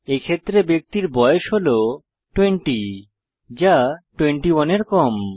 এক্ষেত্রে ব্যক্তির বয়স হল 20 যা 21 এর কম